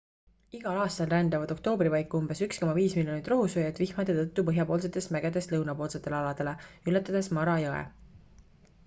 igal aastal rändavad oktoobri paiku umbes 1,5 miljonit rohusööjat vihmade tõttu põhjapoolsetest mägedest lõunapoolsetele aladele ületades mara jõe